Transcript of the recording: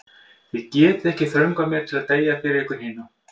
Þið getið ekki þröngvað mér til að deyja fyrir ykkur hina.